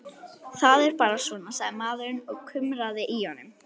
Það er bara svona, sagði maðurinn og kumraði í honum.